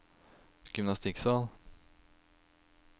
gymnastikksal